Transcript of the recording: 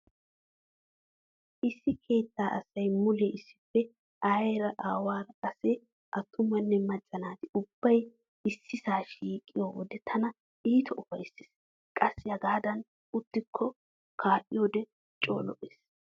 Issi keettaa asay mulee issippe aayeera, aawaara qassi attumanne macca naati ubbay issisa shiiqiyo wode tana iita ufayssees. Qassi hegaadan uttidi kaa'yode coo lo'ees.